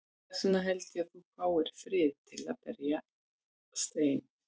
Þess vegna held ég að þú fáir ekki frið til að berjast ein.